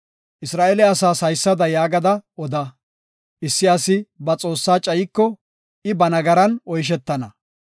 Isra7eele asaas haysada yaagada oda; issi asi ba Xoossaa cayiko, I ba nagaran oyshetana.